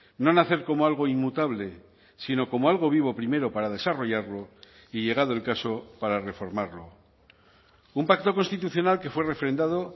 no nacer como algo inmutable sino como algo vivo primero para desarrollarlo y llegado el caso para reformarlo un pacto constitucional que fue refrendado